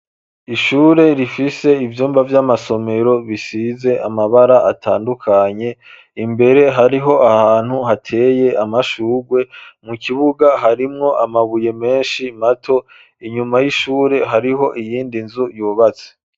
Ishure rifise ivyumba vy'amasomero bisize amabara atandukanye, imbere hariho ahantu hateye amashugwe, mu kibuga harimwo amabuye menshi mato, inyuma y'ishure hariho iyindi nzu yubatse.